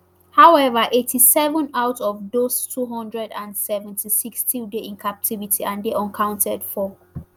however eighty-seven out of those two hundred and seventy-six still dey in captivity and dey unaccounted for